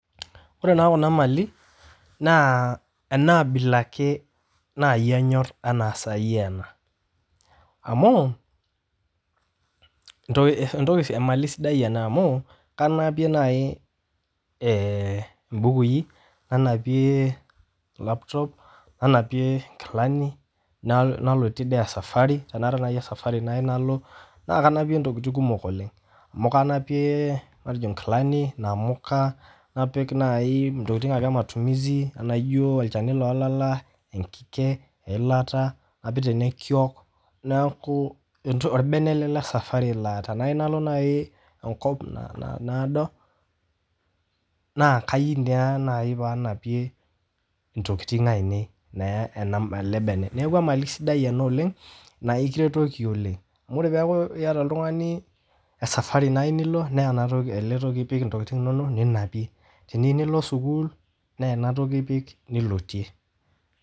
Ore naa kuna maali naa enaabila ake naii anyorr enaa sai ena, amau entoki emalii sidai ana amuu kanapie nai imbukui, nanapie laptop nana[ie enkilani nalotie sii esafari, tenaata nai esafari nayeu nalo naa kanapie ntokitin kumok oleng amu kanapie matejo inkilani, namuka, napik nai ntokitin ake ematumisi enaijo olchani lee laala, enkige, elata, neaku olbene ale le safari naa tenayeu nalo nai enkop naado naa keyeu naii nanapie intokitin ainei naa ale bene, neaku emali sidai oleng naa ekiretoki oleng, amu ore peaku ieta oltungani esafari naii nilo naa ale toki ipik ntokitin inono ninapie, teniyeu nilo sukuul naa enatoki ipik nilotie.